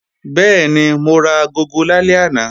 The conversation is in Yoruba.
Bẹ́ẹ̀ni, mo ra agogo lálẹ́ àná